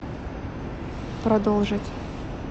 продолжить